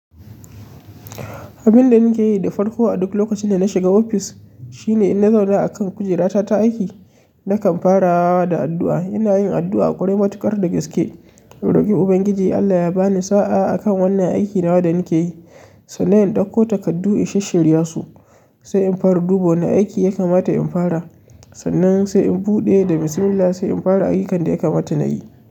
Abinda nake yi da farko a duk lokacin da na shiga ofis shine in na zauna akan kujerata ta aiki, nakan fara da addu'a. Ina yin addu'a a ƙwarai matuƙar da gaske, in roƙi Ubangiji Allah ya bani sa'a akan wannan aiki nawa da nake yi. Sannan in ɗauko takardu in shish shirya su, sai in fara duba na aiki ya kamata in fara. Sannan sai in buɗe da bismillah sai in fara ayyukan da ya kamata nayi.